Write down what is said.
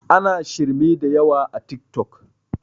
ana shirme da yawa a tik tok